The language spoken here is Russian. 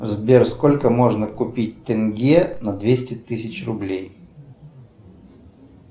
сбер сколько можно купить тенге на двести тысяч рублей